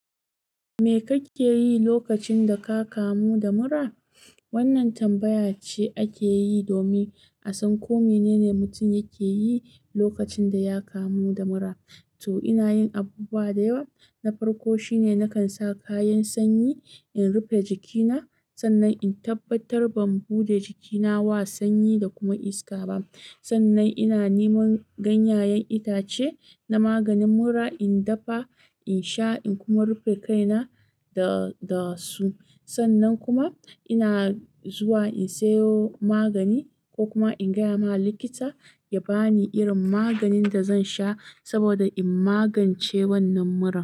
"Me kake yi lokacin da ka kamu da mura? Wannan tambaya ce akeyi domin a san ko mene ne mutum yake yi lokacin da ya kamu da mura. To, inayin abubuwa da yawa. Na farko shine nakan sa kayan sanyi, in rufe jikina. Sannan in tabbatar ban buɗe jikina wa sanyi da kuma iska ba. Sannan ina neman ganyayen itace na maganin mura, in dafa, in sha, in kuma rufe kaina da, da su. Sannan kuma ina zuwa in sayo magani ko kuma in gaya ma likita ya ba ni irin maganin da zan sha saboda in magance wannan muran.